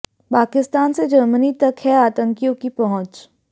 पाकिस्तान से जर्मनी तक है आतंकियों की पहुंच